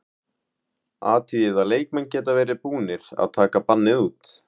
Athugið að leikmenn geta verið þegar búnir að taka bannið út.